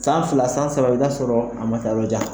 San fila, san saba, i bɛ ta sɔrɔ a ma ta yɔrɔjan.